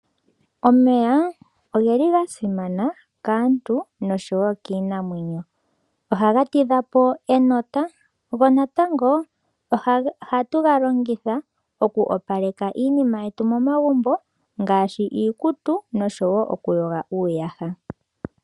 Omeya, oga simana kaantu nosho wo kiinamwenyo. Oha ga tidha po enota, go natango ohatu ga longitha oku opaleka iinima yetu momagumbo, ngaashi iikutu nosho wo okuyoga uuyaha.